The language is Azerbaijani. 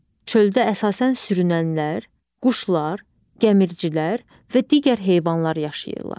Çöldə əsasən sürünənlər, quşlar, gəmiricilər və digər heyvanlar yaşayırlar.